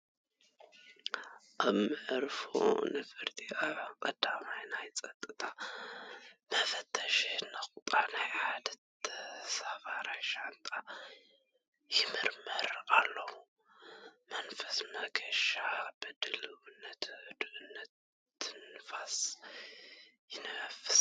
ኣብቲ መዕርፎ ነፈርቲ፡ ኣብ ቀዳማይ ናይ ጸጥታ መፈተሺ ነቑጣ ናይ ሓደ ተሳፋራይ ሻንጣ ይምርመር ኣሎ። መንፈስ መገሻ ብድልውነትን ህድኣትን ትንፋስ ይንፈስ።